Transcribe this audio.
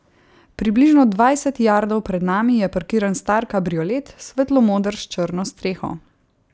Približno dvajset jardov pred nami je parkiran star kabriolet, svetlomoder s črno streho.